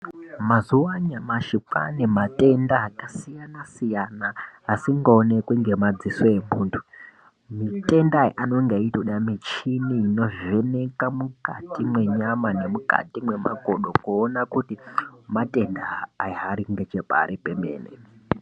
Mazuwa anyamashi kwane matenda akasiyana siyana asingaonekwi nemadziso emuntu mitemda anenge eida michini inovheneka nemukati menyama nemukati memakodo kuona kuti matenda aya Ari nepekari pemene.